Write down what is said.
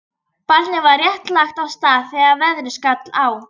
Barnið var rétt lagt af stað þegar veðrið skall á.